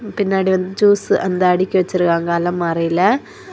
பின்னாடி வந்து ஜூஸ் அந்த அடுக்கி வெச்சிருக்காங்க அலமாரியில.